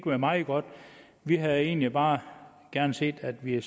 være meget godt vi havde egentlig bare gerne set at vi